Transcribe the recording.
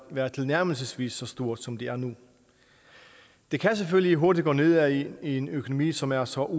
været tilnærmelsesvis så stort som det er nu det kan selvfølgelig hurtigt gå nedad i en økonomi som er så